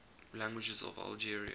languages of algeria